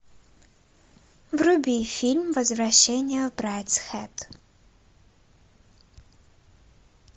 вруби фильм возвращение в брайдсхед